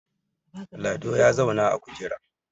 Lado ya zauna a kujera